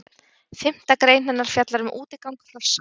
Fimmta grein hennar fjallar um útigang hrossa.